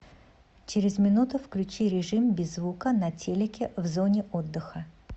через минуту включи режим без звука на телике в зоне отдыха